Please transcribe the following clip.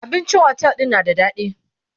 abincin otel ɗin na da daɗi